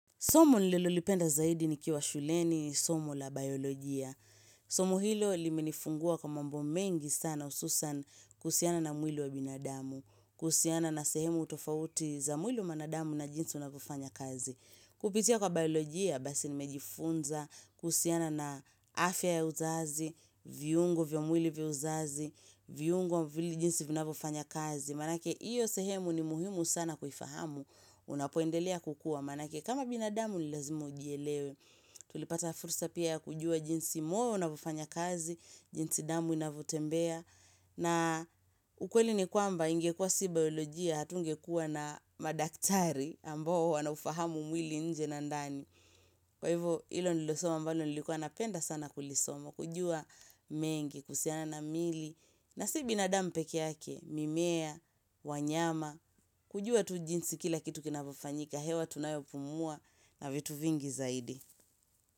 Somo nilolipenda zaidi ni kiwa shuleni, somu la biolojia. Somo hilo limenifungua kwa mambo mengi sana hususan kusiana na mwili wa binadamu, kusiana na sehemu utofauti za mwili wa binadamu na jinsi unakufanya kazi. Kupitia kwa biolojia basi nimejifunza, kuhusiana na afya ya uzazi, viungo vya mwili vya uzazi, viungo vya jinsi unakufanya kazi. Maanake hiyo sehemu ni muhimu sana kufahamu, unapoendelea kukua. Maanake kama binadamu ni lazimu ujelewe tulipata fursa pia kujua jinsi moyo unavyofanya kazi jinsi damu inavyotembea na ukweli ni kwamba ingekua si biolojia hatunge kuwa na madaktari ambao wanaufahamu mwili nje na ndani kwa hivo ilo nilosoma mbalo nilikuwa napenda sana kulisoma kujua mengi kusiana na mili na si binadamu pekeake mimea wanyama kujua tujinsi kila kitu kinavufanyika ya hewa tunayopumua na vitu vingi zaidi.